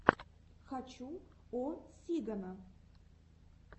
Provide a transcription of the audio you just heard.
хочу о сигано